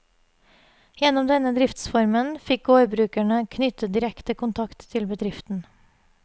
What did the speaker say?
Gjennom denne driftsformen fikk gårdbrukerne knyttet direkte kontakt til bedriften.